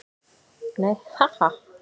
Nei, ha, ha.